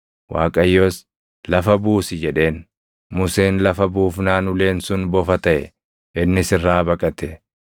Waaqayyos, “Lafa buusi” jedheen. Museen lafa buufnaan uleen sun bofa taʼe; innis irraa baqate.